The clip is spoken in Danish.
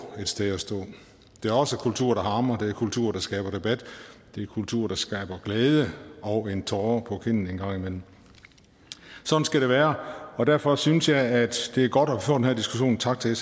et sted at stå det er også kultur der harmer det er kultur der skaber debat det er kultur der skaber glæde og en tåre på kinden en gang imellem sådan skal det være og derfor synes jeg at det er godt at få den her diskussion tak til